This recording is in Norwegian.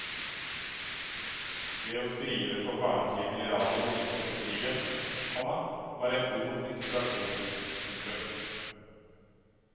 Det å skrive for barnetimene i radio like etter krigen, komma var en god inspirasjon. punktum